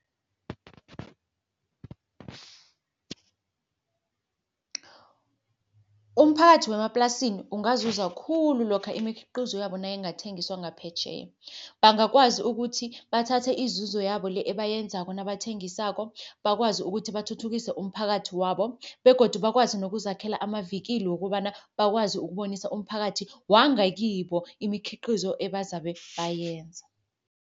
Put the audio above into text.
Umphakathi wemaplasini ungazuza khulu, lokha imikhiqizo yabo nayingathengiswa ngaphetjheya. Bangakwazi ukuthi bathathe izuzo yabo le ebayenzako nabathengisako, bakwazi ukuthi bathuthukise umphakathi wabo begodu bakwazi nokuzakhela amavikili wokobana, bakwazi ukubonisa umphakathi wangakibo imikhiqizo ebazabe bayenza.